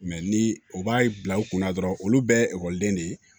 ni u b'a bila u kunna dɔrɔn olu bɛɛ ye ekɔliden de ye